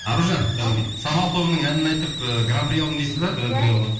аружан самал тобының әнін айтып ііі гран при алдым дейсіз бе